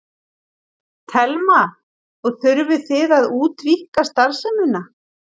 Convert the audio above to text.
Telma: Og þurfið þið að útvíkka starfsemina?